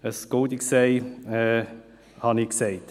Ein «goldenes Ei» habe ich gesagt.